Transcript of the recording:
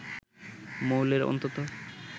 মৌলের অন্তত